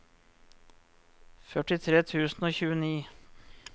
førtitre tusen og tjueni